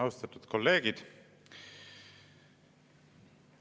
Austatud kolleegid!